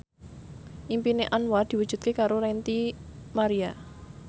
impine Anwar diwujudke karo Ranty Maria